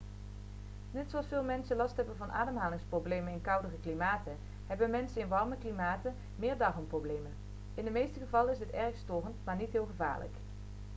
net zoals veel mensen last hebben van ademhalingsproblemen in koudere klimaten hebben mensen in warme klimaten meer darmproblemen in de meeste gevallen is dit erg storend maar niet heel gevaarlijk